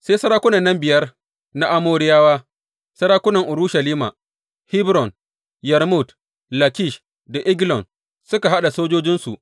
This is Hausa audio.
Sai sarakunan nan biyar na Amoriyawa, sarakunan Urushalima, Hebron, Yarmut, Lakish da Eglon suka haɗa sojojinsu.